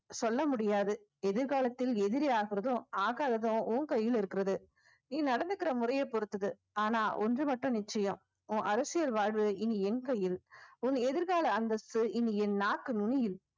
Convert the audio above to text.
சொல்ல முடியாது எதிர்காலத்தில் எதிரி ஆகுறதும் ஆகாததும் உன் கையில் இருக்கிறது நீ நடந்துக்கிற முறைய பொறுத்தது ஆனா ஒன்று மட்டும் நிச்சயம் உன் அரசியல் வாழ்வு இனி என் கையில் உன் எதிர்கால அந்தஸ்து இனி என் நாக்கு நுனியில்